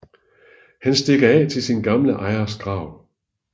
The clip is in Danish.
Han stikker af til sin gamle ejers grav